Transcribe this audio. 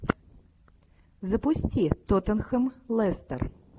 запусти тоттенхэм лестер